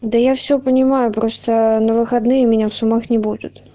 да я все понимаю просто на выходные меня в сумах не будет